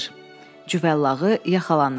Cüvəllağı yaxalanır.